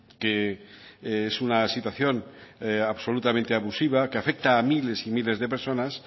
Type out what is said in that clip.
que es una situación absolutamente abusiva que afecta a miles y miles de personas